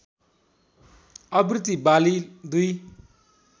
आवृत्ति वाली दुई